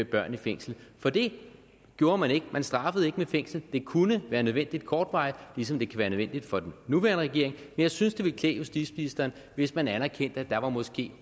børn i fængsel for det gjorde man ikke man straffede ikke med fængsel det kunne være nødvendigt kortvarigt ligesom det kan være nødvendigt for den nuværende regering jeg synes det ville klæde justitsministeren hvis man anerkendte at der måske